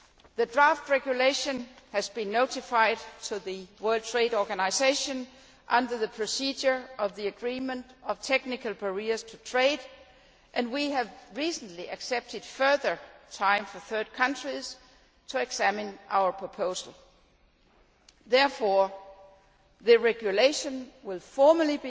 The draft regulation has been notified to the World Trade Organisation under the procedure in the Agreement on Technical Barriers to Trade, and we have recently accepted further time for third countries to examine our proposal. Therefore, the regulation will be formally